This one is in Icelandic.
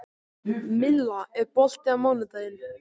Milla, er bolti á mánudaginn?